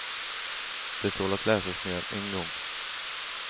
Det tål att läsas mer än en gång.